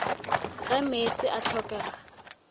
ge meetse a ka hlokega